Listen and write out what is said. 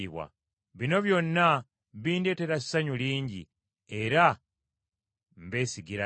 Bino byonna bindeetera essanyu lingi, era mbesigira ddala.